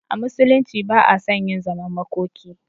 A musulunci ba a son yin zaman makoki